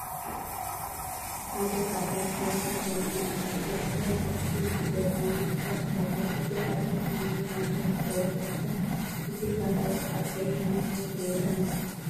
ሐደ ፃዕዳ ዝገበረ ዳኛ አሎ ክልተ ቦክሲ ዝገጥሙ ሰባት አለዉ እቲ ሓደ ሰመያዊ ማልያ ዝገበረ እንትኮን እቲ ካልአዩ ካዓ ቀይሕ ማልያ ገይሩ አሎ።